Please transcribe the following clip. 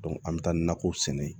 an bɛ taa nakɔw sɛnɛ